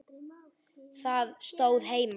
Það stóð heima.